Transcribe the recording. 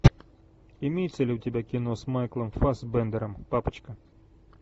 имеется ли у тебя кино с майклом фассбендером папочка